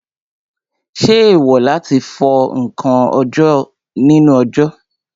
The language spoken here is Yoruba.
Ṣé èèwò láti fọ ǹkan nínú òjò?